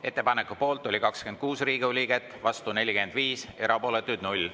Ettepaneku poolt oli 26 Riigikogu liiget, vastu 45, erapooletuid 0.